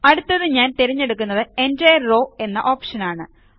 അടുത്തത് ഞാൻ തിരഞ്ഞെടുക്കുന്നത് എന്റിരെ റോവ് എന്ന ഓപ്ഷനാണ്